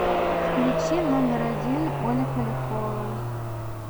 включи номер один оля полякова